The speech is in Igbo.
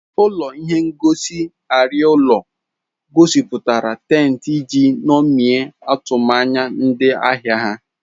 Ụlọ ihe ngosi arịa ụlọ egosipụtara tent iji ṅomie atụmanya ndị ahịa ha.